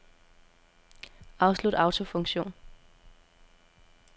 Afslut autofunktion.